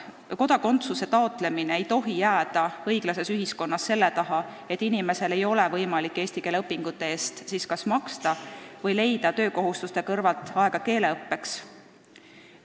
Kodakondsuse taotlemine ei tohi jääda õiglases ühiskonnas selle taha, et inimesel ei ole võimalik kas eesti keele õpingute eest maksta või leida töökohustuste kõrvalt keeleõppeks aega.